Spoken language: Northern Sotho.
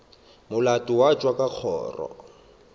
molato wa tšwa ka kgoro